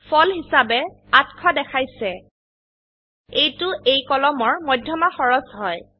ফল হিসাবে ৮০০ দেখাইছে এইটো এই কলমৰ মধ্যমা খৰচ হয়